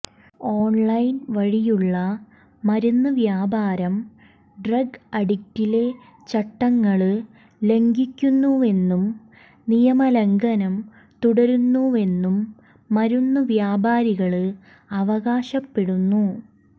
online വഴിയുള്ള മരുന്ന് വ്യാപാരം ഡ്രഗ്ഗ് ആക്ടിലെ ചട്ടങ്ങള് ലംഘിക്കുന്നുവെന്നും നിയമ ലംഘനം തുടരുന്നുവെന്നും മരുന്നുവ്യാപാരികള് അവകാശപ്പെടുന്നു